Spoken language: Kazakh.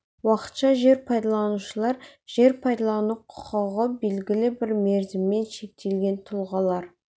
уақытша жер пайдаланушылар жер пайдалану құқығы белгілі бір мерзіммен шектелген тұлғалар